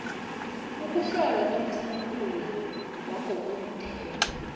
ukuhlolwa kwamasampula wangokomthetho